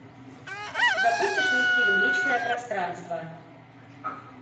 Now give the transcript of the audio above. запустишь мне фильм личное пространство